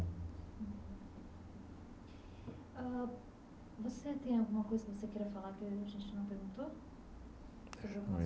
Ãh você tem alguma coisa que você queria falar que a gente não perguntou?